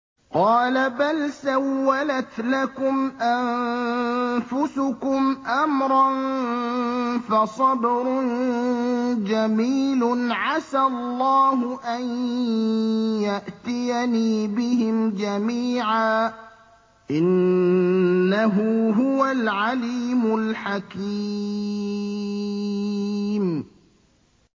قَالَ بَلْ سَوَّلَتْ لَكُمْ أَنفُسُكُمْ أَمْرًا ۖ فَصَبْرٌ جَمِيلٌ ۖ عَسَى اللَّهُ أَن يَأْتِيَنِي بِهِمْ جَمِيعًا ۚ إِنَّهُ هُوَ الْعَلِيمُ الْحَكِيمُ